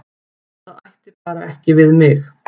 Það ætti bara ekki við mig.